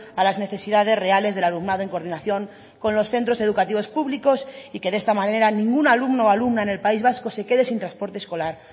a las necesidades reales del alumnado en coordinación con los centros educativos públicos y que de esta manera ningún alumno o alumna en el país vasco se quede sin transporte escolar